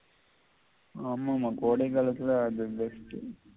ஆமாமா கோடைகாலத்தில அது தான் best